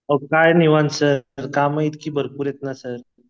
अहो काय निवांत सर कामं इतकी भरपूर येत ना सर